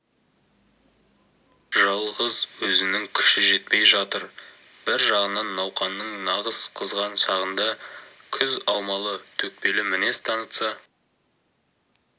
жалғыз өзінің күші жетпей жатыр бір жағынан науқанның нағыз қызған шағында күз аумалы-төкпелі мінез танытса